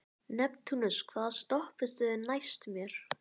Neptúnus, hvaða stoppistöð er næst mér?